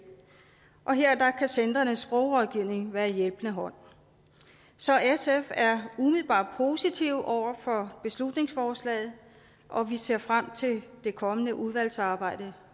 og her kan centrenes sprogrådgivning være en hjælpende hånd så sf er umiddelbart positive over for beslutningsforslaget og vi ser frem til det kommende udvalgsarbejde